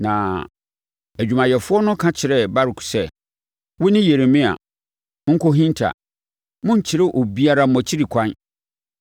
Na adwumayɛfoɔ no ka kyerɛɛ Baruk sɛ, “Wo ne Yeremia, monkɔhinta. Monnkyerɛ obiara mo akyiri ɛkwan.”